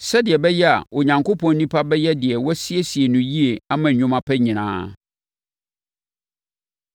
sɛdeɛ ɛbɛyɛ a Onyankopɔn onipa bɛyɛ deɛ wɔasiesie no yie ama nnwuma pa nyinaa.